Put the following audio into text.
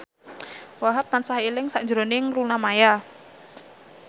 Wahhab tansah eling sakjroning Luna Maya